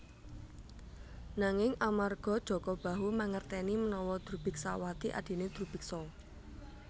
Nanging amarga Jaka Bahu mangerteni menawa Drubiksawati adhine Drubiksa